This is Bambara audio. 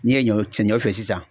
N'i ye ɲɔ fiyɛ sisan